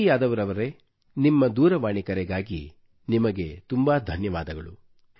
ಛವಿ ಯಾದವ್ ರವರೇ ನಿಮ್ಮ ದೂರವಾಣಿ ಕರೆಗಾಗಿ ನಿಮಗೆ ತುಂಬಾ ಧನ್ಯವಾದಗಳು